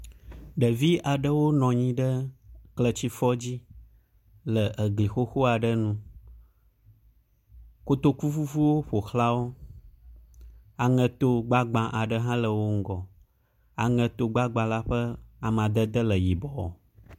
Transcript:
Ɖevi aɖwo nɔ anyi ɖe kletifɔ dzi le egli xoxo aɖe nu. Kotoku vuvuwo ƒoxlawo. Aŋeto gbagba aɖe hã le wo ŋgɔ. Aŋeto gbagba la ƒe amadede le yibɔ.